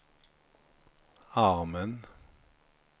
armen